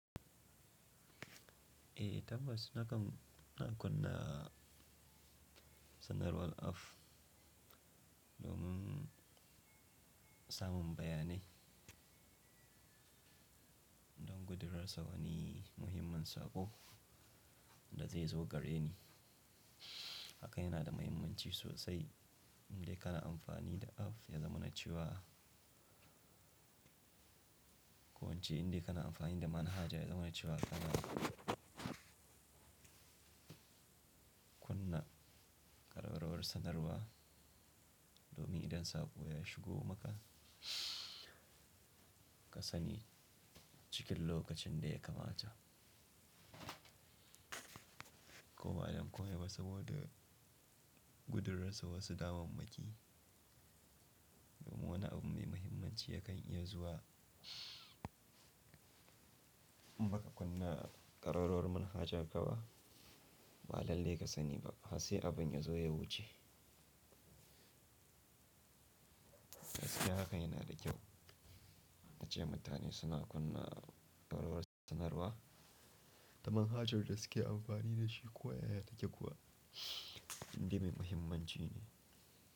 Eh tabbas, nakan na kunna sanarwar off domin samun bayani don gudurarsa wani muhimmin saƙo da zai zo gare ni. Hakan yana da mahimmanci sosai inda kana amfani da aff ya zamanace wa. Ko wance inda kana amfani da manhaja ya zamanaci wa kana kunna kararrawar sanarwa domin idan saƙo ya shigo maka ka sani cikin lokacin da ya kamata. Ko ba don komai ba saboda gudurarsa wasu damammaki domin wani abu mai mahimmanci yakan iya zuwa maka kunna kararrawar manhaja gaba ba lalle ka sani ba har sai abin ya zo ya wuce. Da daske hakan yana da kyau, tace mutane suna kunna kararrawar sanarwa da manhajar da suke amfani da shi ko ya ya take kuwa inda mai mahimmanci ne.